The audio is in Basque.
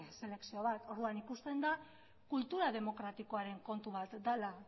selekzio bat orduan ikusten da kultura demokratikoa den kontu bat dela